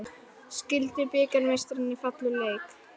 Skildu bikarmeistararnir falla úr leik